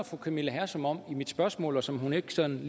fru camilla hersom om i mit spørgsmål og som hun ikke sådan